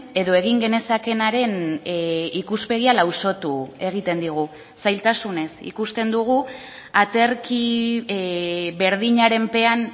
edo egin genezakeenaren ikuspegia lausotu egiten digu zailtasunez ikusten dugu aterki berdinaren pean